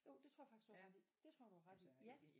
Jo det tror jeg faktisk du har ret i det tror jeg du har ret i ja